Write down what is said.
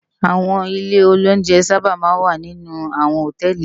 Áwòn ilé óunjè sàbá má n wá ninú áwòn hótèlí